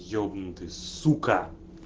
ебнутый сука